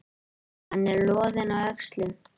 Hann er loðinn á öxlunum.